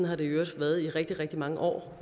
har det i øvrigt været i rigtig rigtig mange år